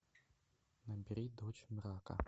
набери дочь мрака